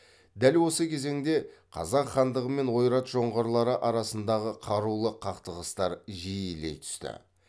дәл осы кезеңде қазақ хандығы мен ойрат жоңғарлары арасындағы қарулы қақтығыстар жиілей түсті